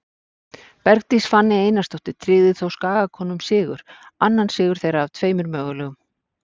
Bergdís Fanney Einarsdóttir tryggði þó Skagakonum sigur, annar sigur þeirra af tveimur mögulegum.